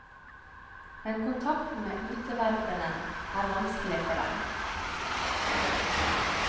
Men kontakten med utenverdenen er vanskelig for dem.